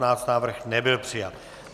Návrh nebyl přijat.